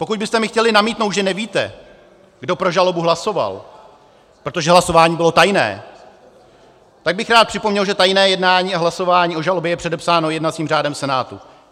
Pokud byste mi chtěli namítnout, že nevíte, kdo pro žalobu hlasoval, protože hlasování bylo tajné, tak bych rád připomněl, že tajné jednání a hlasování o žalobě je předepsáno jednacím řádem Senátu.